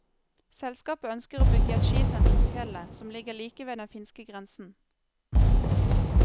Selskapet ønsker å bygge et skisenter på fjellet, som ligger like ved den finske grensen.